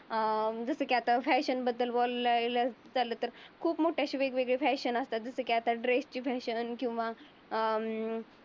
अं जस की आता फॅशन बद्दल बोललेलं. चालल तर खूप मोठ मोठे असे फॅशन असतात. जसे की ड्रेसची फॅशन किंवा अं